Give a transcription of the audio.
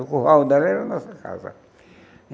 O curral dela era a nossa casa.